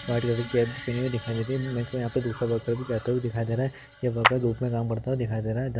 दिखाई देरी है मेरको यहाँ पे दूसरा वर्कर भी जाते हुए दिखाई दे रहा है ये वर्कर धूप में काम करता हुआ दिखाई दे रहा है।